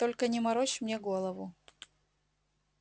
только не морочь мне голову